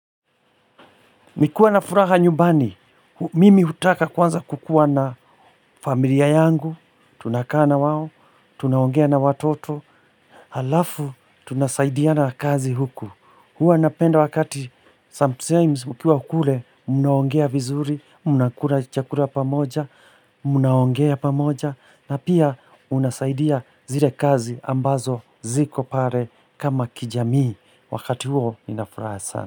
Nikiwa na furaha nyumbani, mimi hutaka kwanza kukua na familia yangu, tunakaa na wao, tunaongea na watoto. Halafu, tunasaidiana kazi huku. Huwa napenda wakati, sometimes mkiwa kule, mnaongea vizuri, mna kula chakula pamoja, mnaongea pamoja, na pia unasaidia zile kazi ambazo ziko pale kama kijamii wakati huo nina furaha sana.